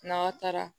N'aw taara